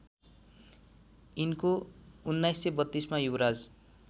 यिनको १९३२मा युवराज